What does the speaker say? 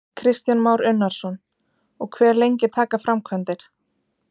Kristján Már Unnarsson: Og hve lengi taka framkvæmdir?